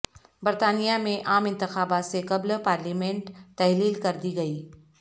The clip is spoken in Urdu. برطانیہ میں عام انتخابات سے قبل پارلیمنٹ تحلیل کردی گئی